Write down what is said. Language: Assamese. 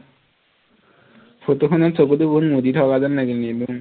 ফটোখনত চকুটো বহুত মুদি থকা যেন লাগিল